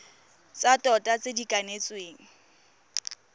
tsa tota tse di kanetsweng